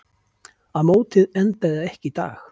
Að mótið endaði ekki í dag.